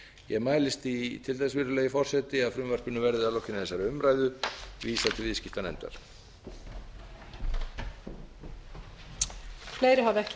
ég mælist til þess virðulegi forseti að frumvarpinu verði að lokinni þessari umræðu vísað til viðskiptanefndar